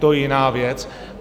To je jiná věc.